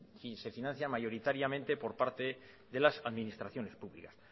si se financian mayoritariamente por parte de las administraciones públicas